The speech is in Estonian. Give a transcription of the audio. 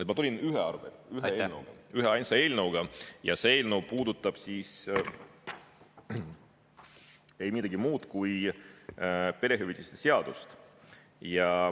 Mina tulin ühe eelnõuga, üheainsa eelnõuga ja see eelnõu puudutab ei midagi muud kui perehüvitiste seadust.